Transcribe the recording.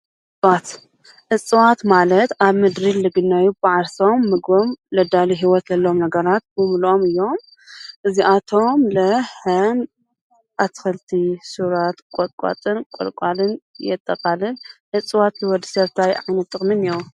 እጽዋት ማለት ኣብ ምድሪ ዝግነዩ ብዓርሶም ምግቦም ዘዳልዩ ሂወት ዘለዎም ነገራት ብምልኦም እዮም እዚኣቶም እዉን ከም ኣትክልቲ ሱራት ቆጥቋጥን ቆልቋልን የጠቃልል እፅዋት ንወዲ ሰብ እንታይ ዓይነት ጥቅሚ ኣለዎ?